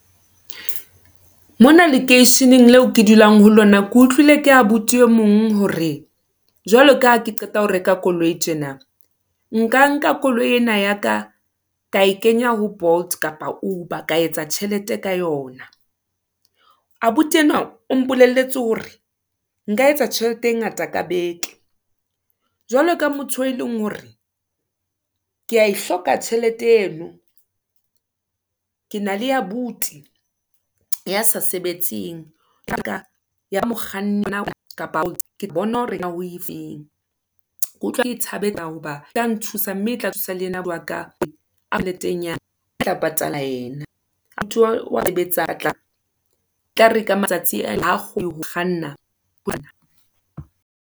Mona lekeisheneng leo ke dulang ho lona, ke utlwile ka abuti e mong hore, jwalo ka ha ke qeta ho reka koloi tjena. Nka nka koloi ena ya ka, ka e kenya ho Bolt, kapa Uber ka etsa tjhelete ka yona. Abuti enwa o mpolelletse hore nka etsa tjhelete e ngata ka beke, jwalo ka motho eo e leng hore ke ya e hloka tjhelete eno. Ke na le abuti ya sa sebetseng o tlo e thabela ho ba etla nthusa, mme e tla thusa le yena wa ka, e tla patala yena. e tla re ka matsatsi kganna.